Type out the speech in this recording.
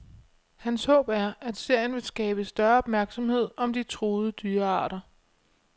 Hans håb er, at serien vil skabe større opmærksomhed om de truede dyrearter.